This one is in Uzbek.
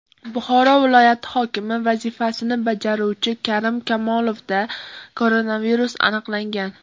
Buxoro viloyati hokimi vazifasini bajaruvchi Karim Kamolovda koronavirus aniqlangan.